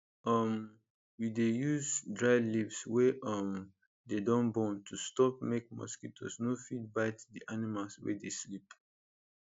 um we dey use dried leaves wey um dey don burn to stop make mosquitoes no fit bite d animals wey dey sleep